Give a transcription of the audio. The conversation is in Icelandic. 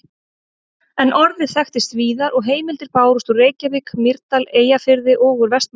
En orðið þekktist víðar og heimildir bárust úr Reykjavík, Mýrdal, Eyjafirði og úr Vestmannaeyjum.